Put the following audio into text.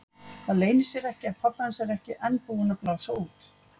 Það leynir sér ekki að pabbi hans er ekki enn búinn að blása út.